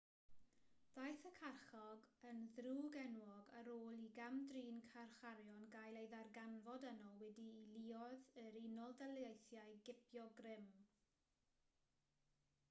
daeth y carchar yn ddrwg-enwog ar ôl i gam-drin carcharorion gael ei ddarganfod yno wedi i luoedd yr unol daleithiau gipio grym